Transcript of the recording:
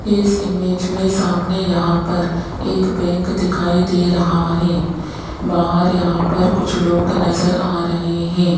इस इमेज में सामने यहां पर एक बैंक दिखाई दे रहा है बाहर यहां पर कुछ लोग नज़र आ रहे हैं।